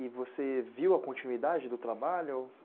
E você viu a continuidade do trabalho?